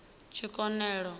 tshikonelo